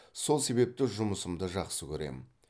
сол себепті жұмысымды жақсы көремін